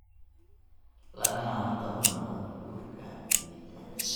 lagana hortago nabaad guurka ciidda.